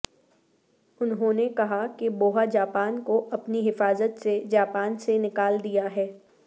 انہوں نے کہا کہ بوہا جاپان کو اپنی حفاظت سے جاپان سے نکال دیا ہے